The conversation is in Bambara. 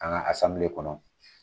An ka kɔnɔ.